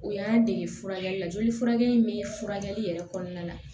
O y'an dege furakɛli la joli furakɛ in bɛ furakɛli yɛrɛ kɔnɔna la